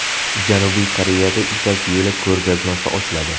Janubiy Koreyada Ipak yo‘li ko‘rgazmasi ochiladi.